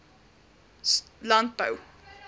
landbou